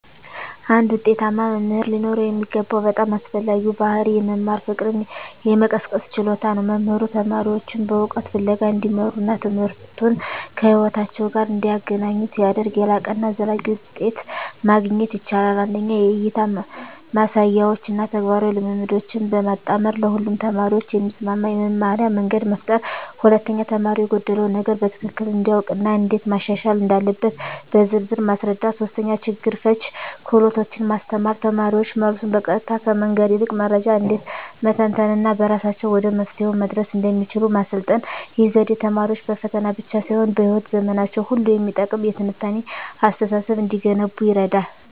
አንድ ውጤታማ መምህር ሊኖረው የሚገባው በጣም አስፈላጊው ባሕርይ የመማር ፍቅርን የመቀስቀስ ችሎታ ነው። መምህሩ ተማሪዎቹን በእውቀት ፍለጋ እንዲመሩና ትምህርቱን ከሕይወታቸው ጋር እንዲያገናኙ ሲያደርግ፣ የላቀና ዘላቂ ውጤት ማግኘት ይቻላል። 1) የእይታ ማሳያዎችን እና ተግባራዊ ልምምዶችን በማጣመር ለሁሉም ተማሪዎች የሚስማማ የመማርያ መንገድ መፍጠር። 2)ተማሪው የጎደለውን ነገር በትክክል እንዲያውቅ እና እንዴት ማሻሻል እንዳለበት በዝርዝር ማስረዳት። 3)ችግር ፈቺ ክህሎቶችን ማስተማር: ተማሪዎች መልሱን በቀጥታ ከመንገር ይልቅ መረጃን እንዴት መተንተን እና በራሳቸው ወደ መፍትሄው መድረስ እንደሚችሉ ማሰልጠን። ይህ ዘዴ ተማሪዎች በፈተና ብቻ ሳይሆን በሕይወት ዘመናቸው ሁሉ የሚጠቅም የትንታኔ አስተሳሰብ እንዲገነቡ ይረዳል።